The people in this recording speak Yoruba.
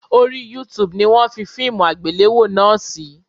Orí YouTube ni wọ́n fi fíìmù àgbéléwò náà sí